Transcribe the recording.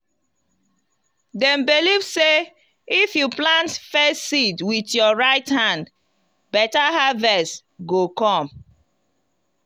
dem believe sey if you plant first seed with your right hand better harvest go come.